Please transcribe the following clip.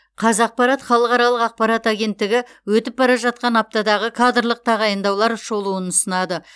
қазақпарат халықаралық ақпарат агенттігі өтіп бара жатқан аптадағы кадрлық тағайындаулар шолуын ұсынады